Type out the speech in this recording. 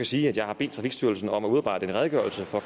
sige at jeg har bedt trafikstyrelsen om at udarbejde en redegørelse for